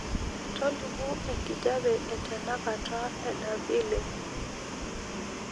tolimu enkijape etenakata edaville